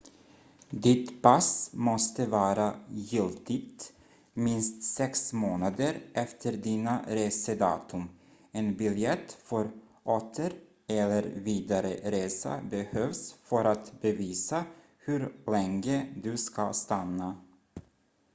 ditt pass måste vara giltigt minst sex månader efter dina resedatum en biljett för åter- eller vidare resa behövs för att bevisa hur länge du ska stanna